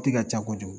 Ti ka ca kojugu